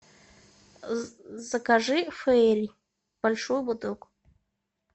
закажи фейри большую бутылку